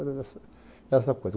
Era essa essa coisa.